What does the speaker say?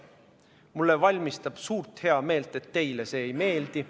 Mulle valmistab suurt heameelt, et teile see ei meeldi.